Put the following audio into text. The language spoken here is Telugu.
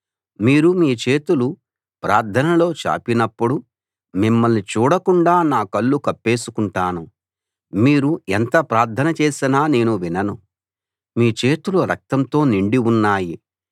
మీరు మీ చేతులు ప్రార్థనలో చాపినప్పుడు మిమ్మల్ని చూడకుండా నా కళ్ళు కప్పేసుకుంటాను మీరు ఎంత ప్రార్థన చేసినా నేను వినను మీ చేతులు రక్తంతో నిండి ఉన్నాయి